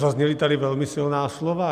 Zazněla tady velmi silná slova.